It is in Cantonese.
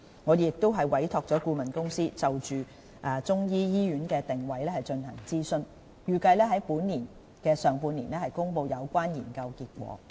我們亦已委託顧問公司，就中醫醫院的定位進行諮詢，預計於本年上半年公布有關研究結果。